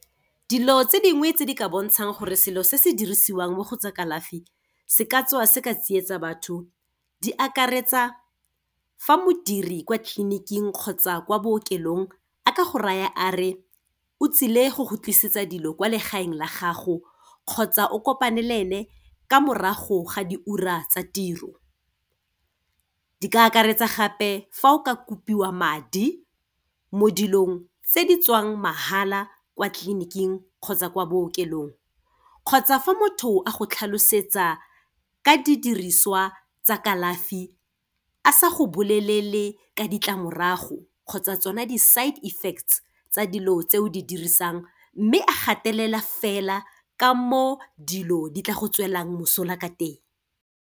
Dilo tse dingwe tse di ka bontshang gore selo se se dirisiwang mo go tsa kalafi se ka tswa se ka tsietsa batho, di akaretsa, fa modiri kwa tleliniking kgotsa kwa bookelong a ka go raya a re, o tsile go go tlisetsa dilo kwa legaeng la gago, kgotsa o kopane le ene ka morago ga diura tsa tiro. Di ka akaretsa gape, fa o ka kopiwa madi mo dilong tse di tswang mahala kwa tliliniking kgotsa kwa bookelong, kgotsa fa motho a go tlhalosetsa ka didiriswa tsa kalafi a sa go bolelele ka ditlamorago, kgotsa tsona di-side effects tsa dilo tse o di dirisang, mme a gatelela fela ka mo dilo di tla go tswela mosola ka teng.